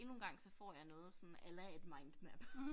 Endnu en gang så får jeg noget sådan a la et mindmap